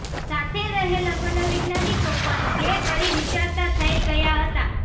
સાથે રહેલા મનોવૈજ્ઞાનિકો પણ બે ઘડી વિચારતા થઇ ગયા હતા